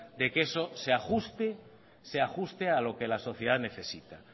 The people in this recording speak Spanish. de que eso se ajuste a lo que la sociedad necesita